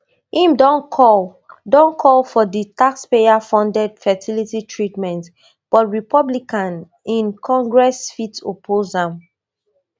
im don call don call for di tax payer funded fertility treatment but republican in congress fit oppose am